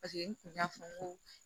Paseke n kun y'a fɔ n ko